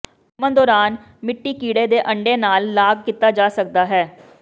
ਘੁੰਮਣ ਦੌਰਾਨ ਮਿੱਟੀ ਕੀੜੇ ਦੇ ਅੰਡੇ ਨਾਲ ਲਾਗ ਕੀਤਾ ਜਾ ਸਕਦਾ ਹੈ